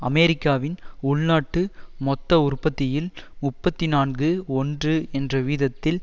அமெரிக்காவின் உள்நாட்டு மொத்த உற்பத்தியில் முப்பத்தி நான்கு ஒன்று என்ற வீதத்தில்